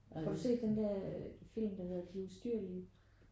Har du set den der film der hedder de ustyrlige?